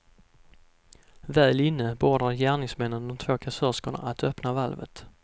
Väl inne beordrade gärningsmännen de två kassörskorna att öppna valvet.